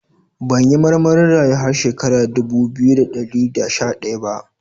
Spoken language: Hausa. Ban yi marmarin rayu har shekara dubu biyu da dari da sha daya ba.